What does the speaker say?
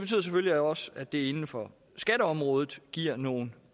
selvfølgelig også at det inden for skatteområdet giver nogle